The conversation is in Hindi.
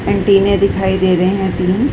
एंटीने दिखाई दे रहें हैं तीन।